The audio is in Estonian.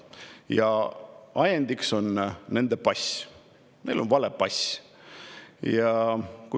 Ja ajendiks on nende pass, neil on vale pass.